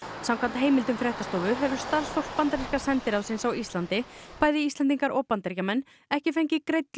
samkvæmt heimildum fréttstofu hefur starfsfólk bandaríska sendiráðsins á Íslandi bæði Íslendingar og Bandaríkjamenn ekki fengið greidd